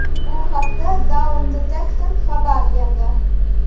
Bu haqda Downdetector xabar berdi .